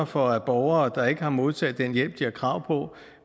for at borgere der ikke har modtaget den hjælp de har krav på